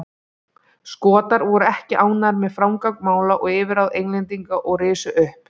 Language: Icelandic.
Skotar voru ekki ánægðir með framgang mála og yfirráð Englendinga og risu upp.